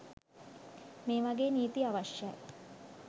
මේ වගේ නීති අවශ්‍යයි.